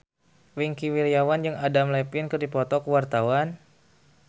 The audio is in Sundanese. Wingky Wiryawan jeung Adam Levine keur dipoto ku wartawan